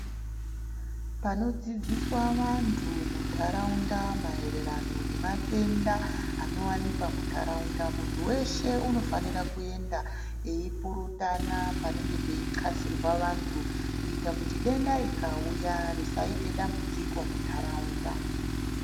Panodzidziswa vandu mundaraunda mahererano nematenda ano wanikwa mundaraunda mundu weshe unofanirwa kuenda eipurutana panenge peiqasirwa vandu kuita kuti denda rikauya risaite dambudziko mundaraunda